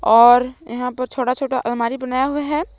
और यहां पर छोटा छोटा अलमारी बनाया हुआ है।